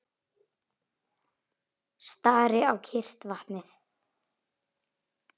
Stari á kyrrt vatnið.